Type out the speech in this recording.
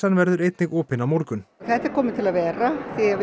verður einnig opin á morgun þetta er komið til að vera því við